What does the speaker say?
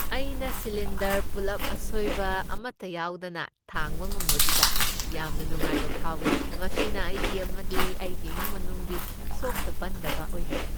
ꯑꯩꯅ ꯁꯤꯂꯤꯟꯗꯔ ꯄꯨꯜꯂꯞ ꯑꯁꯣꯏꯕ ꯑꯃꯠꯇ ꯌꯥꯎꯗꯅ ꯊꯥꯡꯕ ꯉꯝꯕꯗꯨꯗ ꯌꯥꯝꯅ ꯅꯨꯡꯉꯥꯏꯕ ꯐꯥꯎꯏ, ꯃꯁꯤꯅ ꯑꯩꯒꯤ ꯑꯃꯗꯤ ꯑꯩꯒꯤ ꯏꯃꯨꯡ ꯃꯅꯨꯡꯒꯤ ꯁꯣꯛꯇ ꯄꯟꯗꯕ ꯑꯣꯏꯍꯜꯂꯤ꯫